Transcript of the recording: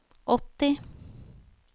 åtti